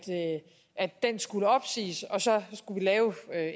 den skulle opsiges og så skulle vi lave